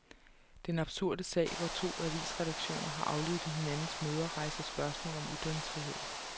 Den absurde sag hvor to avisredaktioner har aflyttet hinandens møder rejser spørgsmål om ytringsfrihed.